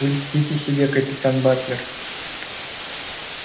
вы льстите себе капитан батлер